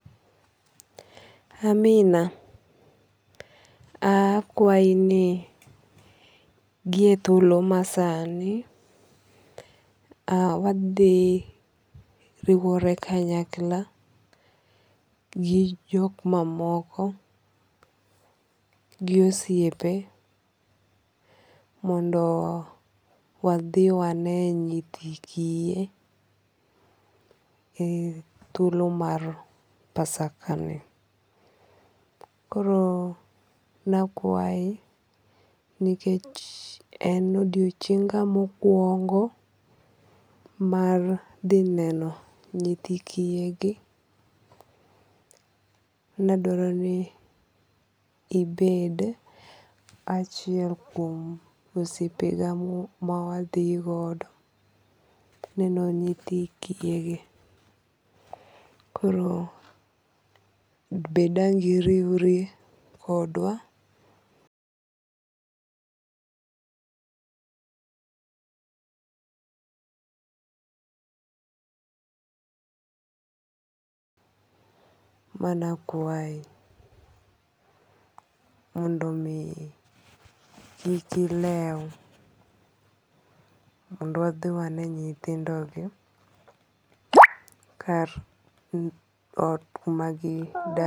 Amina, akwayi ni gi e thuolo ma sani wadhi riwore kanyakla gi jok mamoko gi osiepe mondo wadhi wane nyithi kiye e thuolo mar pasakani. Koro nakwayi nikech e odiochienga mokwongo mar dhi neno nyithi kiye gi, ne adwaro ni ibed achiel kuom osiepega ma wadhi godo neno nyithi kiye gi. Koro be dang' iriwri kodwa? manakwayi mondo mi kik ilew mondo wadhi wane nyithindo gi kar ot kuma gidakie.